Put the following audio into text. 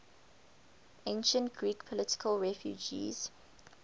ancient greek political refugees